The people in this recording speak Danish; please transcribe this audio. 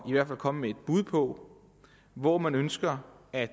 i hvert fald komme med et bud på hvor man ønsker at